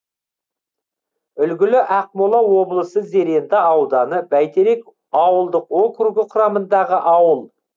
үлгілі ақмола облысы зеренді ауданы бәйтерек ауылдық округі құрамындағы ауыл